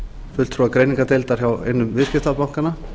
fulltrúa greiningardeildar hjá einum viðskiptabankanna